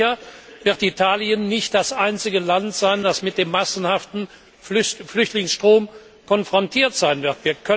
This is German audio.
Und sicher wird Italien nicht das einzige Land sein, das mit dem massenhaften Flüchtlingsstrom konfrontiert sein wird.